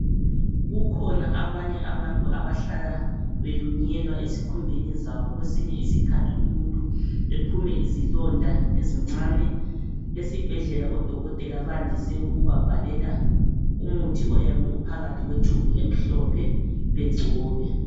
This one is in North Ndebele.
Kukhona abanye abantu abahlala belunyelwa ezikhumbeni zabo kwesinye isikhathi umuntu ephume izilonda ezincane esibhedlela odokotela bande ukubabhalela umuthi oyabe uphakathi kwetshubhu emhlophe begcobe.